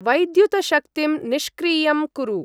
वैद्युतशक्तिं निष्क्रियं कुरु।